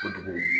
Kojugu